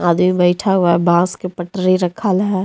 बैठा हुआ बांस के पटरी रखल है।